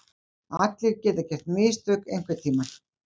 Allir geta gert mistök einhverntímann.